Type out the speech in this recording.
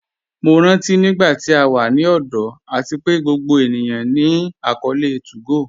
Mo rántí nígbàtí à wà ní ọ̀dọ̀ àti pé gbogbo ènìyàn ní akọọlẹ̀ 2go